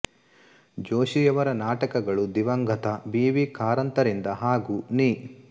ಜೋಶಿಯವರ ನಾಟಕಗಳು ದಿವಂಗತ B V ಕಾರಂತರಿಂದ ಹಾಗು ನೀ